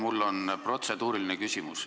Mul on protseduuriline küsimus.